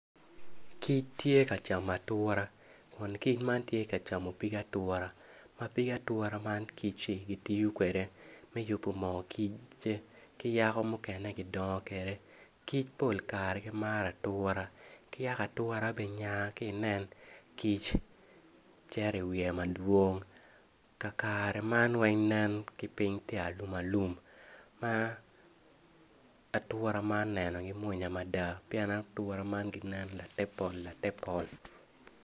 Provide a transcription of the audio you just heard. Kic tye ka cama atura kun kic man tye ka camo nying atura ma pig atura man kicci gityo kwede mi yubu moo kicce ki yako mukene gidong kwede kic pol kare gimaro atura ki yako atura be nyaa ki inen kic ceri i wiye madwong ka kare man weng nen ki piny ti alum alum ma atura man nenogi munya mada pien atura man ginen late pol late pol